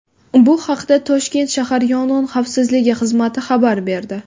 Bu haqda Toshkent shahar Yong‘in xavfsizligi xizmati xabar berdi .